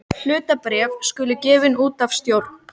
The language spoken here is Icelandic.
Heimir Már: Kaustu sama og síðast?